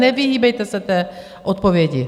Nevyhýbejte se té odpovědi.